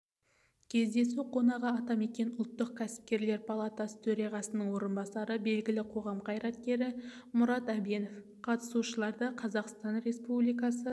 кездесу қонағы атамекен ұлттық кәсіпкерлер палатасы төрағасының орынбасары белгілі қоғам қайраткері мұрат әбенов қатысушыларды қазақстан республикасы